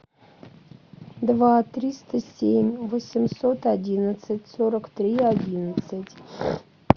два триста семь восемьсот одинадцать сорок три одиннадцать